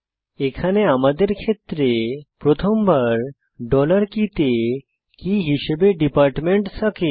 এখানে আমাদের ক্ষেত্রে প্রথমবার ডলার কে কে তে কী হিসাবে ডিপার্টমেন্ট থাকে